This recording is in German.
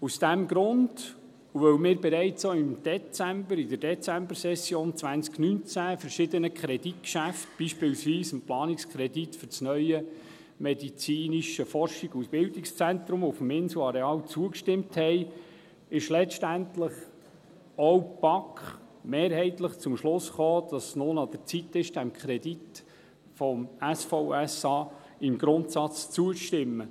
Aus diesem Grund und weil wir auch bereits in der Dezembersession 2019 verschiedenen Kreditgeschäften, beispielsweise dem Planungskredit für das neue medizinische Forschungs- und Bildungszentrum auf dem Inselareal, zugestimmt haben, ist letztendlich auch die BaK mehrheitlich zum Schluss gekommen, dass es nun an der Zeit ist, dem Kredit für das SVSA im Grundsatz zuzustimmen.